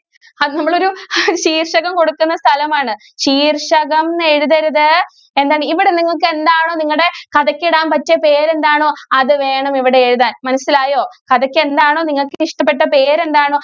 അത് നമ്മളൊരു ശീർഷകം കൊടുക്കുന്ന സ്ഥലം ആണ് ശീർഷകം എന്ന് എഴുതരുത് എന്താണ് ഇവിടെ നിങ്ങൾക്ക് എന്താണ് നിങ്ങളുടെ കഥക്ക് ഇടാൻ പറ്റിയ പേര് എന്താണ് അത് വേണം ഇവിടെ എഴുതാൻ മനസ്സിലായോ കഥയ്ക്ക് എന്താണോ നിങ്ങൾക്ക് ഇഷ്ടപെട്ട പേര് എന്താണോ